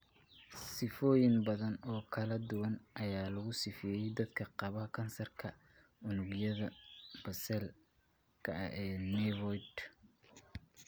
Sifooyin badan oo kala duwan ayaa lagu sifeeyay dadka qaba kansarka unugyada basal-ka ee nevoid (NBCCS).